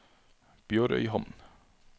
BjørØyhamn